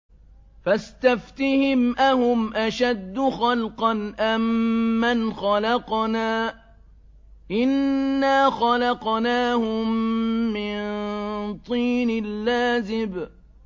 فَاسْتَفْتِهِمْ أَهُمْ أَشَدُّ خَلْقًا أَم مَّنْ خَلَقْنَا ۚ إِنَّا خَلَقْنَاهُم مِّن طِينٍ لَّازِبٍ